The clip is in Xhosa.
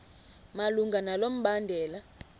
malunga nalo mbandela